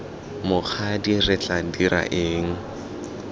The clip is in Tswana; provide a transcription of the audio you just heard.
mokgadi re tla dira eng